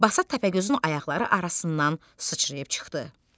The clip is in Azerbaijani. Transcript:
Basat Təpəgözün ayaqları arasından sıçrayıb çıxdı.